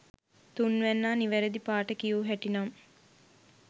තුන්වැන්නා නිවැරදි පාට කියූ හැටි නම්